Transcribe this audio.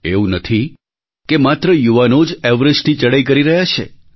એવું નથી કે માત્ર યુવાનો જ એવરેસ્ટની ચડાઈ કરી રહ્યા છે